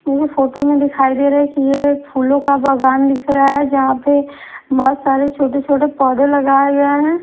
मुझे फोटो में दिखाई दे रहा है कि ये एक फूलों का बागान दिख रहा है जहाँ पे बहोत सारे छोटे छोटे पौधे लगाए गए हैं।